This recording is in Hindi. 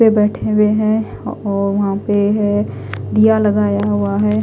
पे बेठे हुए है और वहा पे है दिया लगाया हुआ है।